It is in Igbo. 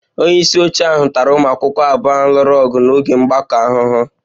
Onye isi oche ahụ tara ụmụ akwụkwọ abụọ ahụ lụrụ ọgụ n'oge mgbakọ ahụhụ